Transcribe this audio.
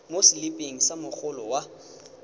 mo seliping sa mogolo wa